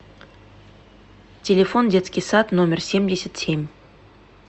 телефон детский сад номер семьдесят семь